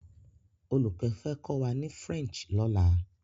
Oluko fẹ́ kọ́ wá ni French lọ́la.